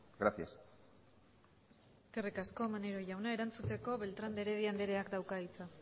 gracias eskerrik asko maneiro jauna erantzuteko beltrán de heredia andereak dauka hitza